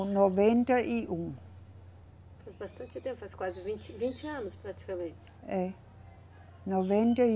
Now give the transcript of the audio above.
Noventa e um. Faz bastante tempo, faz quase vinte, vinte anos praticamente. É, noventa e